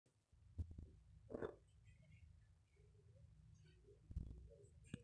eitu ebau namuka aainei enangole saa nitejo kebau